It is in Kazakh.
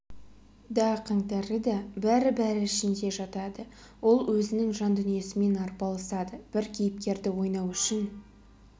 да қаңтары да бәрі-бәрі ішінде жатады ол өзінің жан дүниесімен арпалысады бір кейіпкерді ойнау үшін